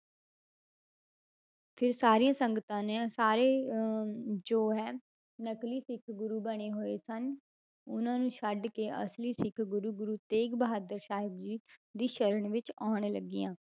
ਫਿਰ ਸਾਰੀਆਂ ਸੰਗਤਾਂ ਨੇ ਸਾਰੇ ਅਹ ਜੋ ਹੈ ਨਕਲੀ ਸਿੱਖ ਗੁਰੂ ਬਣੇ ਹੋਏ ਸਨ, ਉਹਨਾਂ ਨੂੰ ਛੱਡ ਕੇ ਅਸਲੀ ਸਿੱਖ ਗੁਰੂ ਗੁਰੂ ਤੇਗ ਬਹਾਦਰ ਸਾਹਿਬ ਜੀ ਦੀ ਸਰਣ ਵਿੱਚ ਆਉਣ ਲੱਗੀਆਂ,